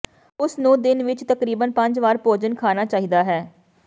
ਉਸ ਨੂੰ ਦਿਨ ਵਿਚ ਤਕਰੀਬਨ ਪੰਜ ਵਾਰ ਭੋਜਨ ਖਾਣਾ ਚਾਹੀਦਾ ਹੈ